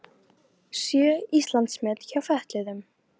Sjö Íslandsmet hjá fötluðum